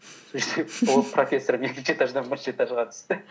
ол профессор екінші этаждан бірінші этажға түсті